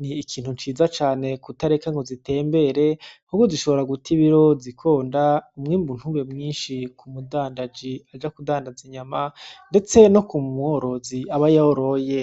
nikintu ciza cane kubatareka ngo zitembere kuko zishobora gut'ibiro zikonda umwimbu ntube mwinshi k'umudandaza aja kudandaz'inyama, ndetse nok'umworozi aba yarazoyoye.